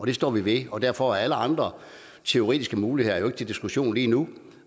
det står vi ved og derfor er alle andre teoretiske muligheder jo ikke til diskussion lige nu